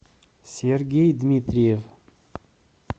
сергей дмитриев